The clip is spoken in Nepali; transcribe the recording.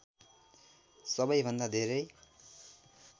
सबैभन्दा धेरै